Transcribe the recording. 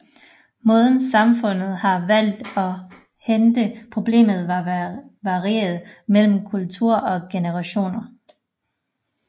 Måden samfundet har valgt at håndtere problemet har varieret mellem kulturer og generationer